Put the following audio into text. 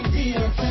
2